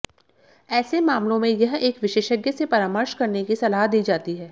ऐसे मामलों में यह एक विशेषज्ञ से परामर्श करने की सलाह दी जाती है